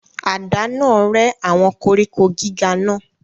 Àdá náà rẹ́ àwọn koríko gíga náà.